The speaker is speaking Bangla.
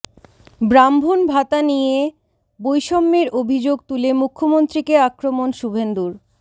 ব্রাহ্মণ ভাতা নিয়ে বৈষম্যের অভিযোগ তুলে মুখ্যমন্ত্রীকে আক্রমণ শুভেন্দুর